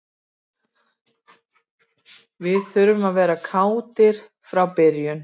Við þurfum að vera klárir frá byrjun.